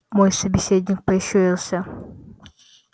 мой собеседник прищурился